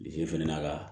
Bilisi fana ka